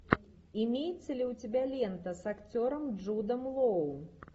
имеется ли у тебя лента с актером джудом лоу